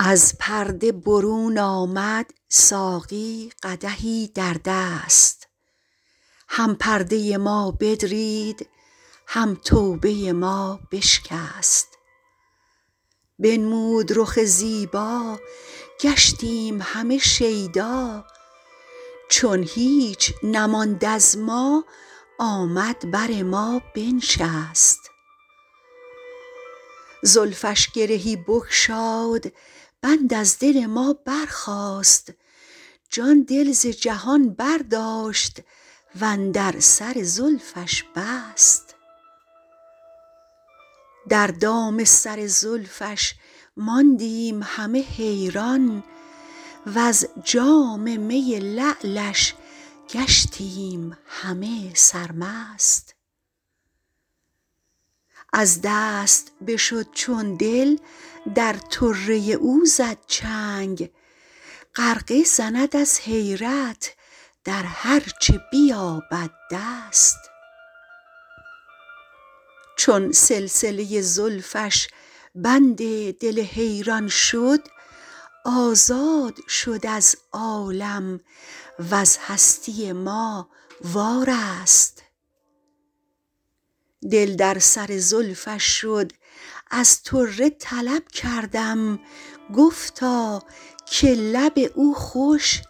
از پرده برون آمد ساقی قدحی در دست هم پرده ما بدرید هم توبه ما بشکست بنمود رخ زیبا گشتیم همه شیدا چون هیچ نماند از ما آمد بر ما بنشست زلفش گرهی بگشاد بند از دل ما برخاست جان دل ز جهان برداشت وندر سر زلفش بست در دام سر زلفش ماندیم همه حیران وز جام می لعلش گشتیم همه سرمست از دست بشد چون دل در طره او زد چنگ غرقه زند از حیرت در هرچه بیابد دست چون سلسله زلفش بند دل حیران شد آزاد شد از عالم وز هستی ما وارست دل در سر زلفش شد از طره طلب کردم گفتا که لب او خوش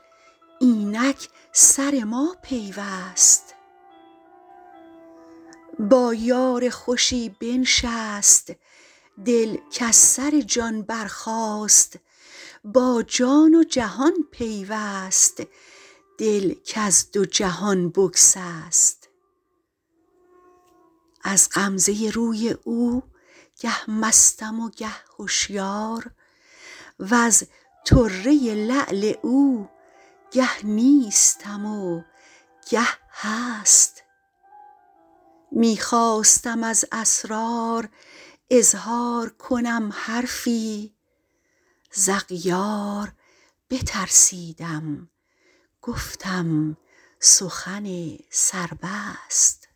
اینک سر ما پیوست با یار خوشی بنشست دل کز سر جان برخاست با جان و جهان پیوست دل کز دو جهان بگسست از غمزه روی او گه مستم و گه هشیار وز طره لعل او گه نیستم و گه هست می خواستم از اسرار اظهار کنم حرفی ز اغیار بترسیدم گفتم سخن سر بست